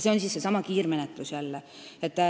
See on seesama kiirmenetlus.